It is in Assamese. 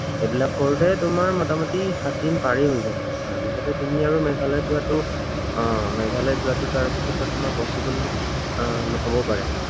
সেইবিলাক কৰোতে তোমাৰ মুটামুটি সাতদিন পাৰেই হৈ যাব। তাৰপিছতে তgমি আৰু মেঘালয়ত যোৱাটো, আহ মেঘালয়ত যোৱাতো তাৰপিছতে তোমাৰ possible আহ নহবও পাৰে।